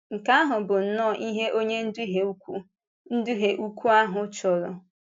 Nke ahụ bụ nnọọ ihe Onye Ùdùhìe ukwu Ùdùhìe ukwu ahụ chọrọ!